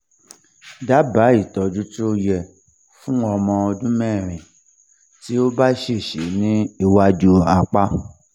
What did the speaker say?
daba itoju ti o ye fun omo odunmeri ti o ba sese ni iwaju apa